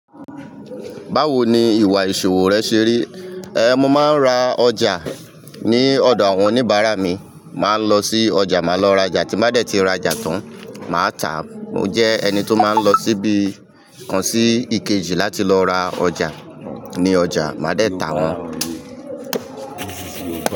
Báwo ni ìwà ìṣòwò rẹ ṣe rí? Ehn, mo maa ń ra ọjà ní ọ̀dọ̀ àwọn oníbàárà mi. Màá lọ sí ọjà, màá lọ rajà. Tí mádẹ̀ tí rajà tán, màá tàá. Mo jẹ́ ẹni tó máa ń lọ síbi kan sí Ikeji láti lọ ra ọjà ní ọjà, mádẹ̀ tà wọ́n.